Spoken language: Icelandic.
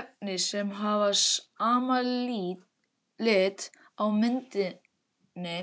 Efni sem hafa sama lit á myndinni